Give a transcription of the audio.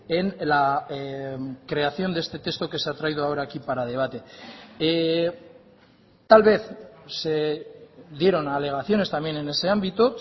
en la creación de este texto que se ha traído ahora aquí para debate tal vez se dieron alegaciones también en ese ámbito